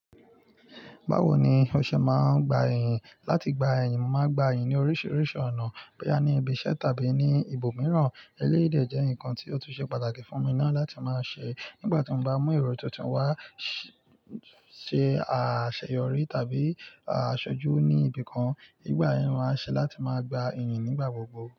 Báwo ni o ṣe máa gba ìyìn? Láti gba ìyìn, mo má gba ìyìn ní oríṣiríṣi ọ̀nà, bóyá ní ibiṣẹ́ tàbí ní ibòmíràn. Eléyí èdè jẹ́ nǹkan tí ó tún ṣe pàtàkì fún mi náà láti máa ṣe nígbàtí mo bá mú èrò tuntun wá, ṣe àṣeyọrí tàbí asojú ní ibìkan. Nígbà yẹn ni mo man ń ṣe láti má gba ìyìn nígbàgbogbo.